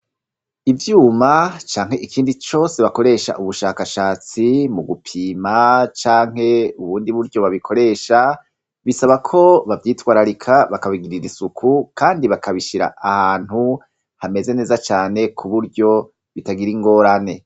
Ivyuma canke ikindi cose bakoresha ubushakashatsi mu gupima canke ubundi buryo babikoresha, bisaba ko bavyitwararika, bakabigirira isuku kandi bakabishira ahantu hameze neza cane, kuburyo bitagira ingorane.